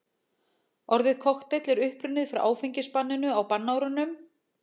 Orðið kokteill er upprunnið frá áfengisbanninu á bannárunum.